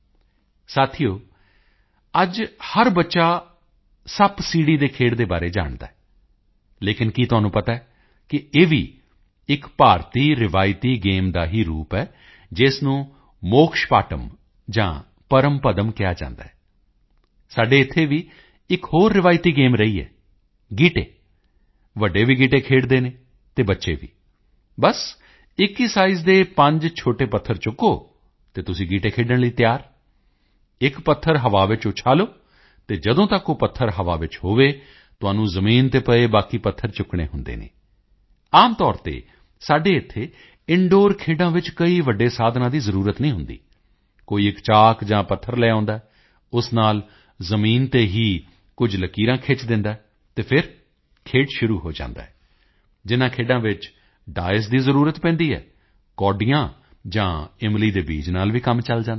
ਸਾਥੀਓ ਅੱਜ ਹਰ ਬੱਚਾ ਸੱਪਸੀੜ੍ਹੀ ਦੇ ਖੇਡ ਦੇ ਬਾਰੇ ਜਾਣਦਾ ਹੈ ਲੇਕਿਨ ਕੀ ਤੁਹਾਨੂੰ ਪਤਾ ਹੈ ਕਿ ਇਹ ਵੀ ਇੱਕ ਭਾਰਤੀ ਰਵਾਇਤੀ ਗੇਮ ਦਾ ਹੀ ਰੂਪ ਹੈ ਜਿਸ ਨੂੰ ਮੋਕਸ਼ ਪਾਟਮ ਜਾਂ ਪਰਮ ਪਦਮ ਕਿਹਾ ਜਾਂਦਾ ਹੈ ਸਾਡੇ ਇੱਥੇ ਦੀ ਇੱਕ ਹੋਰ ਰਵਾਇਤੀ ਗੇਮ ਰਹੀ ਹੈ ਗੀਟੇ ਵੱਡੇ ਵੀ ਗੀਟੇ ਖੇਡਦੇ ਹਨ ਅਤੇ ਬੱਚੇ ਵੀ ਬਸ ਇੱਕ ਹੀ ਸਾਈਜ਼ ਦੇ ਪੰਜ ਛੋਟੇ ਪੱਥਰ ਚੁੱਕੋ ਅਤੇ ਤੁਸੀਂ ਗੀਟੇ ਖੇਡਣ ਲਈ ਤਿਆਰ ਇੱਕ ਪੱਥਰ ਹਵਾ ਵਿੱਚ ਉਛਾਲੋ ਅਤੇ ਜਦੋਂ ਤੱਕ ਉਹ ਪੱਥਰ ਹਵਾ ਵਿੱਚ ਹੋਵੇ ਤੁਹਾਨੂੰ ਜ਼ਮੀਨ ਤੇ ਪਏ ਬਾਕੀ ਪੱਥਰ ਚੁੱਕਣੇ ਹੁੰਦੇ ਹਨ ਆਮ ਤੌਰ ਤੇ ਸਾਡੇ ਇੱਥੇ ਇੰਦੂਰ ਖੇਡਾਂ ਵਿੱਚ ਕੋਈ ਵੱਡੇ ਸਾਧਨਾਂ ਦੀ ਜ਼ਰੂਰਤ ਨਹੀਂ ਹੁੰਦੀ ਕੋਈ ਇੱਕ ਚਾਕ ਜਾਂ ਪੱਥਰ ਲੈ ਆਉਂਦਾ ਹੈ ਉਸ ਨਾਲ ਜ਼ਮੀਨ ਤੇ ਹੀ ਕੁਝ ਲਕੀਰਾਂ ਖਿੱਚ ਦਿੰਦਾ ਹੈ ਅਤੇ ਫਿਰ ਖੇਡ ਸ਼ੁਰੂ ਹੋ ਜਾਂਦਾ ਹੈ ਜਿਨ੍ਹਾਂ ਖੇਡਾਂ ਵਿੱਚ ਡਾਈਸ ਦੀ ਜ਼ਰੂਰਤ ਪੈਂਦੀ ਹੈ ਕੌਡੀਆਂ ਜਾਂ ਇਮਲੀ ਦੇ ਬੀਜ ਨਾਲ ਵੀ ਕੰਮ ਚੱਲ ਜਾਂਦਾ ਹੈ